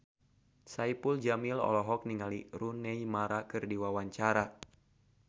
Saipul Jamil olohok ningali Rooney Mara keur diwawancara